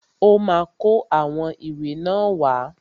Ọ́ ma kó àwọn ìwé náà wá.